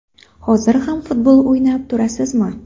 Hozir ham futbol o‘ynab turasizmi?